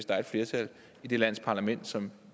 der er flertal i det lands parlament som